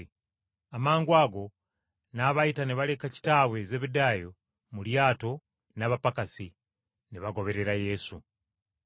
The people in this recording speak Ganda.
Amangwago n’abayita ne baleka kitaabwe Zebbedaayo mu lyato n’abapakasi, ne bagoberera Yesu.